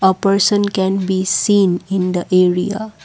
a person can be seen in the area.